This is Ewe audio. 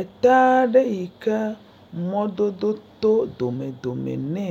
Ekpe aɖe yike mɔdodo tɔ dome dome ne